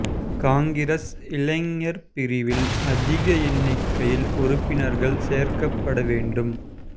காங்கிரஸ் இளைஞர் பிரிவில் அதிக எண்ணிக்கையில் உறுப்பினர்கள் சேர்க்கப்பட வேண்டும்